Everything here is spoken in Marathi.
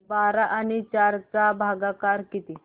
बारा आणि चार चा भागाकर किती